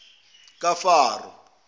kafaro